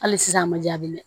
Hali sisan a ma jaabi dɛ